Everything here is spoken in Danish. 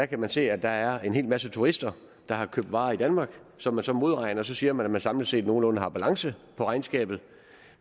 kan se at der er en hel masse turister der har købt varer i danmark som man så modregner og så siger man at man samlet set nogenlunde har balance i regnskabet